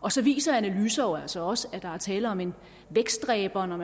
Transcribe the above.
og så viser analyser jo altså også at der er tale om en vækstdræber når